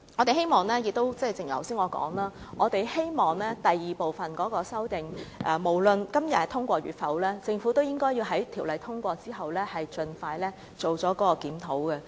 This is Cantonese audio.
正如我剛才所說，我希望，無論第二部分的修正案能否在今天獲得通過，政府也應該在條例草案通過之後，盡快進行檢討。